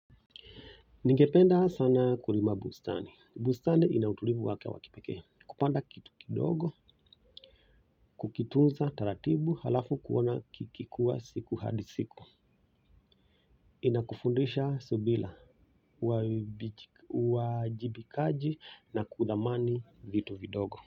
Ningependa sana kurima bustani. Bustani inautulivu wake wa kipekee. Kupanda kitu kidogo, kukitunza taratibu halafu kuona kikikua siku hadi siku. Inakufundisha subila, uwajibikaji na kudhamani vitu vidogo.